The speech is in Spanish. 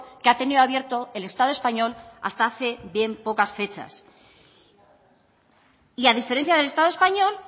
que ha tenido abierto el estado español hasta hace bien pocas fechas y a diferencia del estado español